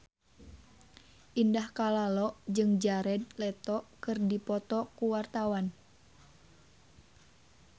Indah Kalalo jeung Jared Leto keur dipoto ku wartawan